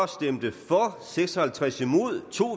stemte seks og halvtreds